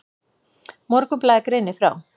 Morgunblaðið greinir frá.